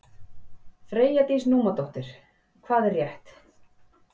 Freyja Dís Númadóttir: Hvað er rétt?